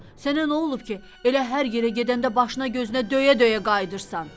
Ay usta, sənə nə olub ki, elə hər yerə gedəndə başına gözünə döyə-döyə qayıdırsan.